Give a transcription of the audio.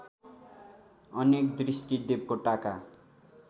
अनेक दृष्टि देवकोटाका